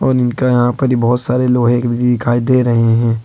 और इनका यहां पर बहुत सारे लोहे दिखाई दे रहे हैं।